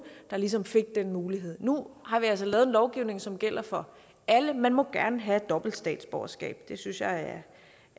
der ligesom fik den mulighed nu har vi altså lavet en lovgivning som gælder for alle man må gerne have et dobbelt statsborgerskab det synes jeg